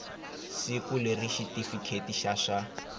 siku leri xitifiketi xa swa